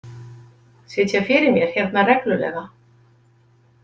Sitja fyrir mér hérna reglulega?